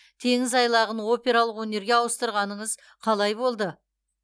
теңіз айлағын опералық өнерге ауыстырғаныңыз қалай болды